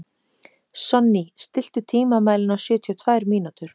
Sonný, stilltu tímamælinn á sjötíu og tvær mínútur.